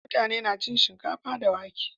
mutane na cin shinkafa da wake